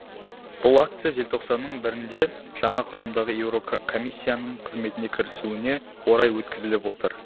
бұл акция желтоқсанның бірінде жаңа құрамдағы еурокомиссияның қызметіне кірісуіне орай өткізіліп отыр